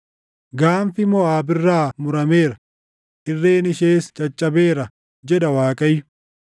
Gaanfi Moʼaab irraa murameera; irreen ishees caccabeera” jedha Waaqayyo.